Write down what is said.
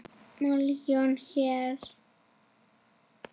Milljón hér.